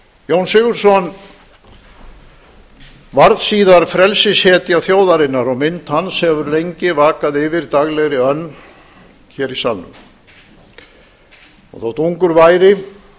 jón sigurðsson varð síðar frelsishetja þjóðarinnar og mynd hans hefur lengi vakað yfir daglegri önn hér í salnum þótt ungur væri